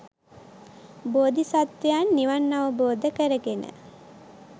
බෝධිසත්වයන් නිවන් අවබෝධ කරගෙන